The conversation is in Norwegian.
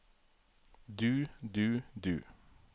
du du du